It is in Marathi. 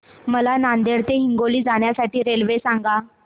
मला नांदेड ते हिंगोली जाण्या साठी रेल्वे सांगा